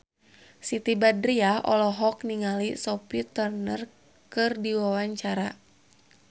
Siti Badriah olohok ningali Sophie Turner keur diwawancara